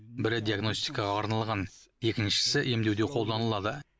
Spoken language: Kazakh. бірі диагностикаға арналған екіншісі емдеуде қолданылады